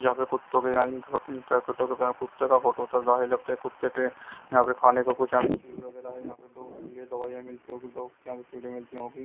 जहां पे कुत्तों के कुत्तों का फोटो जाहि लगता है कुत्ते के यहां पे खाने को कुछ यहां पे चीज वैगैरह है यहां पे डॉग्स के लिए दवाईयां मिलती होगी डॉग्स की यहां पे मिलती होगी।